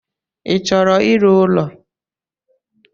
I chọrọ ịrụ ụlọ.